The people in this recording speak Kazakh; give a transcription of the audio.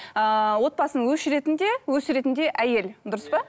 ыыы отбасын өшіретін де өсіретін де әйел дұрыс па